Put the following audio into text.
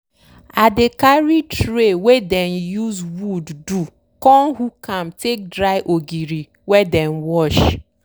i dey carry tray wey dem use wood do con hook am take dry ogiri wey dem wash.